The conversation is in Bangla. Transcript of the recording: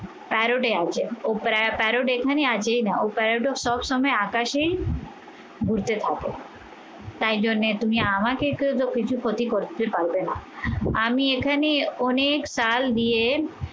এটা প্যারোডে আছে। ও প্যারোড এখানে আছেই না, ও প্যারোডও সব সময় আকাশেই ঘুরতে থাকে। তাই জন্যে তুমি আমাকে একটু কিছু ক্ষতি করতে পারবে না। আমি এখানে অনেক চাল দিয়ে